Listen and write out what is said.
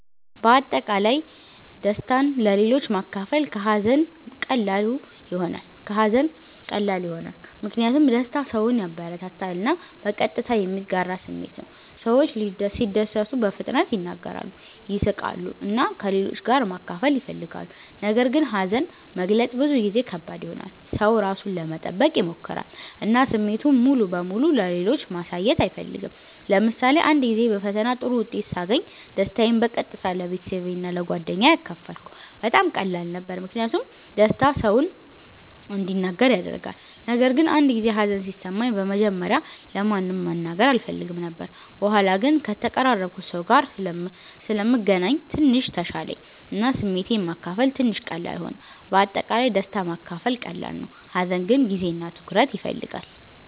በአጠቃላይ ደስታን ለሌሎች ማካፈል ከሀዘን ቀላሉ ይሆናል። ምክንያቱም ደስታ ሰውን ያበረታታል እና በቀጥታ የሚጋራ ስሜት ነው። ሰዎች ሲደሰቱ በፍጥነት ይናገራሉ፣ ይስቃሉ እና ከሌሎች ጋር ማካፈል ይፈልጋሉ። ነገር ግን ሀዘን መግለጽ ብዙ ጊዜ ከባድ ይሆናል። ሰው ራሱን ለመጠበቅ ይሞክራል እና ስሜቱን ሙሉ በሙሉ ለሌሎች ማሳየት አይፈልግም። ለምሳሌ አንድ ጊዜ በፈተና ጥሩ ውጤት ሳገኝ ደስታዬን በቀጥታ ለቤተሰቤ እና ለጓደኞቼ አካፈልኩ። በጣም ቀላል ነበር ምክንያቱም ደስታ ሰውን እንዲናገር ያደርጋል። ነገር ግን አንድ ጊዜ ሀዘን ሲሰማኝ በመጀመሪያ ለማንም መናገር አልፈልግም ነበር። በኋላ ግን ከተቀራረብኩት ሰው ጋር ስለምገናኝ ትንሽ ተሻለኝ እና ስሜቴን ማካፈል ትንሽ ቀላል ሆነ። በአጠቃላይ ደስታ ማካፈል ቀላል ነው፣ ሀዘን ግን ጊዜ እና ትኩረት ይፈልጋል።